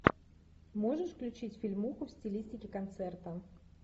можешь включить фильмуху в стилистике концерта